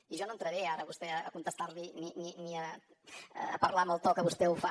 i jo no entraré ara a vostè a contestar li ni a parlar amb el to que vostè ho fa